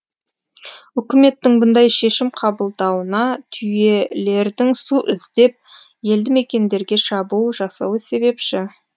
үкіметтің бұндай шешім қабылдауына түйелердің су іздеп елді мекендерге шабуыл жасауы себепші